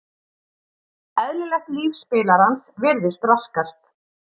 Eðlilegt líf spilarans virðist raskast.